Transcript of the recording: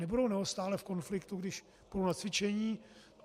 Nebudou neustále v konfliktu, když půjdou na cvičení?